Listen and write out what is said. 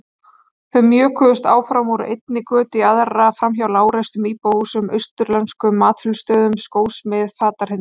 Þau mjökuðust áfram, úr einni götu í aðra, framhjá lágreistum íbúðarhúsum, austurlenskum matsölustöðum, skósmið, fatahreinsun.